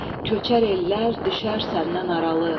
Köçər ellər, düşər səndən aralı.